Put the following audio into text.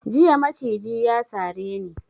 Jiya maciji ya sare ni.